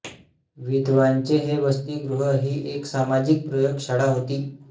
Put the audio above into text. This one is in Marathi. विधवांचे हे वसतिगृह ही एक सामाजिक प्रयोगशाळा होती